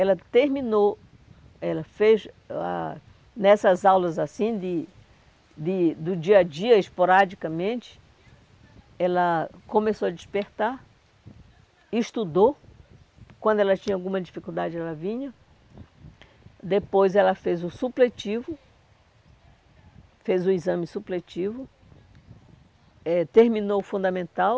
Ela terminou, ela fez ah nessas aulas assim de de, do dia a dia, esporadicamente, ela começou a despertar, estudou, quando ela tinha alguma dificuldade ela vinha, depois ela fez o supletivo, fez o exame supletivo, eh terminou o fundamental,